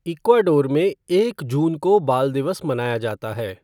Ecuador में एक जून को बाल दिवस मनाया जाता है।